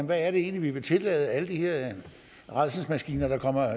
hvad vi egentlig vil tillade af alle de her rædselsmaskiner der kommer